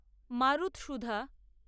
মারুতসুধা